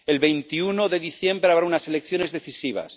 El 21 de diciembre habrá unas elecciones decisivas.